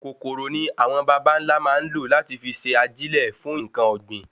Kòkòrò ni awọn bàbá nlá máa n lo lati fi n se ajilẹ fún nkan ògbìn